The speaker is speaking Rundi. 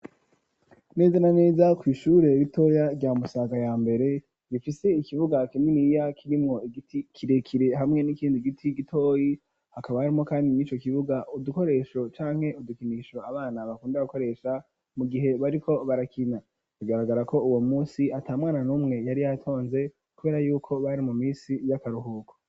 Neza na neza, kw'ishure ritoya, rya Musaga ya mbere, rifise ikibuga kininiya, kirimwo igiti kirekire, hamwe n'ikindi giti gitoyi; hakaba harimwo kandi, mw'ico kibuga, udukoresho canke udukinisho, abana bakunda gukoresha, mu gihe bariko barakina; bigaragara ko, uwo munsi, ata mwana n'umwe yari yatonze, kubera y'uko, bari mu minsi y'akaruhuko.